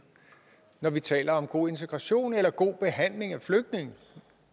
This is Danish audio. når vi taler om god integration eller god behandling af flygtninge